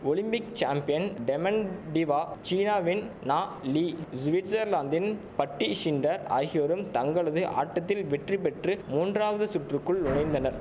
Olympic champion Dementieva சீனாவின் Na Li சுவிட்சர்லாந்தின் Patty Schnyder ஆகியோரும் தங்களது ஆட்டத்தில் வெற்றி பெற்று மூன்றாவது சுற்றுக்குள் நுழைந்தனர்